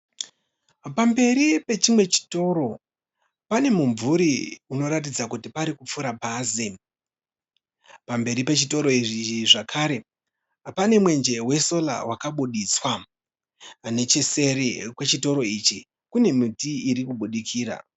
Pamberi pechimwe chitoro pane mumvuri unoratidza kuti parikupfuura bhazi . Pamberi pechitoro ichi zvakare pane mwenje we sola wakabuditswa . Necheseri kwe chitoro ichi kune miti irikubudikira.